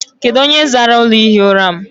Kedụ onye zara ụlọ ihi ụra m?